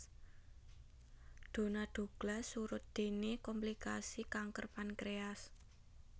Donna Douglas surut déné komplikasi kanker pankréas